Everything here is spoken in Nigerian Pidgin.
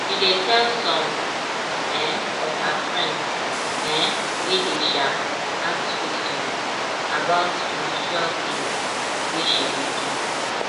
she dey tell some um of her friends um wey dey um ask questions about spiritual things wey she dey do